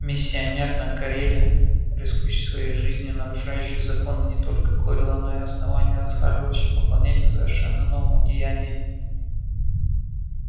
миссионер на кореле рискующий своей жизнью нарушающий законы не только корела но и основания расхаживающий по планете в совершенно новом одеянии